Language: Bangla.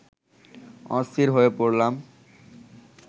অস্থির হয়ে পড়লাম